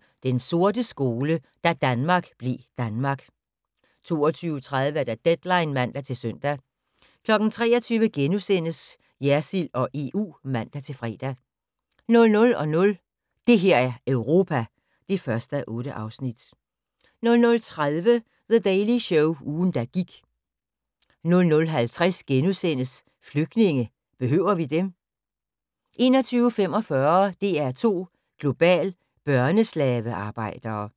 22:20: Den sorte skole: Da Danmark blev Danmark 22:30: Deadline (man-søn) 23:00: Jersild og EU *(man-fre) 00:00: Det her er Europa (1:8) 00:30: The Daily Show – ugen der gik 00:50: Flygtninge – behøver vi dem? * 01:45: DR2 Global: Børneslavearbejdere